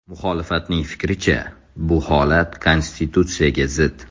Muxolifatning fikricha, bu holat konstitutsiyaga zid.